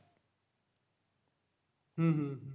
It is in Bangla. হম হম